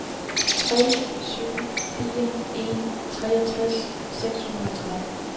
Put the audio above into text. tre syv fire en treogtres seks hundrede og tretten